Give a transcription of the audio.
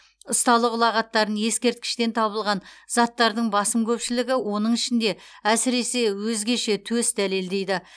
ұсталық ұлағаттарын ескерткіштен табылған заттардың басым көпшілігі оның ішінде әсіресе өзгеше төс дәлелдейді